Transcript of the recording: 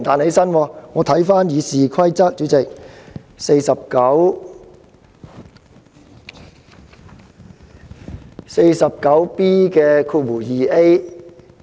主席，我曾翻閱《議事規則》第 49B 條。